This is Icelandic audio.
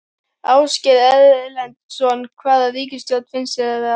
Ásgeir Erlendsson: Hvaða ríkisstjórn finnst þér vera líklegust?